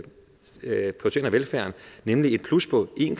velfærden nemlig et plus på en